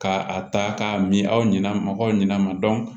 Ka a ta k'a min aw ɲɛna mɔgɔw ɲɛna